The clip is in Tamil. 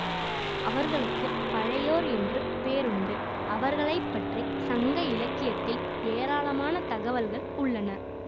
அவர்களுக்கு பழையோர் என்றும் பேர் உண்டு அவர்களைப்பற்றி சங்க இலக்கியத்தில் ஏராளமான தகவல்கள் உள்ளன